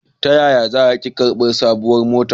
Ta yaya za a ke karbi sabuwar matar?